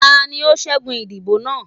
tání o ṣẹgun idibo naa?